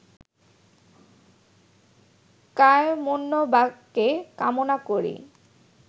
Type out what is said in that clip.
কায়মনোবাক্যে কামনা করি